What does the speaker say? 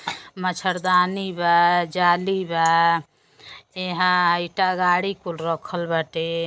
मच्छरदानी बा जाली बा यहां ईटा गाड़ी कुल रखल बाटे।